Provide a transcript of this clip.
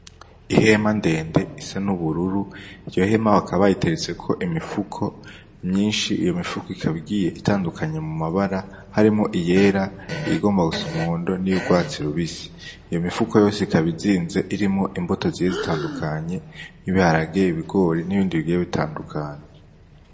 Ihema ndende isa n'ubururu, iyo hema bakaba bayiteretseko imifuko myinshi, iyo mifuko ikaba igiye itandukanye mu mabara harimwo iyera, iyigomba gusa umuhondo n'iyurwatsi rubisi. Iyo mifuko yose ikaba izinze irimwo imbuto zigiye zitandukanye nk'ibiharage, ibigori n'ibindi bigiye bitandukanye.